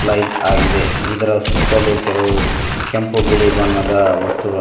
plight ಆಗಿದೆ ಇದರ ಸುತ್ತಲೂ ಕೆಲವು ಕೆಂಪು ಬಿಳಿ ಬಣ್ಣದ ವಸ್ತುಗಳು--